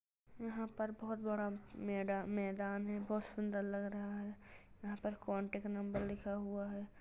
यहाँ पर बोहोत बड़ा मैदा-मैदान है बोहोत सुंदर लग रहा है यहाँ पर कॉन्टेक्ट नंबर लिखा हुआ है।